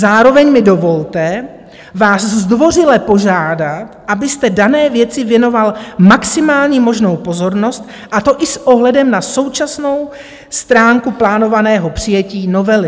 Zároveň mi dovolte vás zdvořile požádat, abyste dané věci věnoval maximální možnou pozornost, a to i s ohledem na současnou stránku plánovaného přijetí novely.